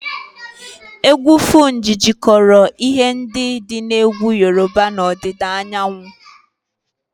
Egwu Fuji jikọtara ihe ndị dị na egwu Yoruba na ọdịda anyanwụ